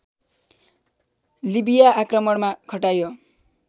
लिबिया आक्रमणमा खटाइयो